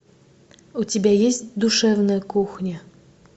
у тебя есть душевная кухня